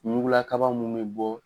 Mugula kaba mun be bɔ